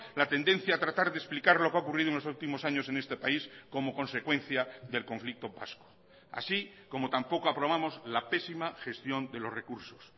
la tendencia a tratar de explicar lo que ha ocurrido en los últimos años en este país como consecuencia del conflicto vasco así como tampoco aprobamos la pésima gestión de los recursos